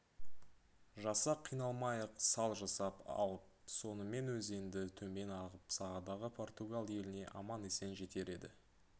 жасақ қиналмай-ақ сал жасап алып сонымен өзенді төмен ағып сағадағы португал еліне аман-есен жетер еді